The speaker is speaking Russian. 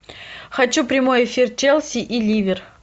хочу прямой эфир челси и ливер